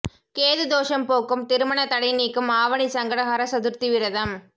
கேது தோஷம் போக்கும் திருமண தடை நீக்கும் ஆவணி சங்கடஹர சதுர்த்தி விரதம்